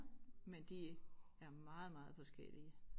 Men de er meget meget forskellige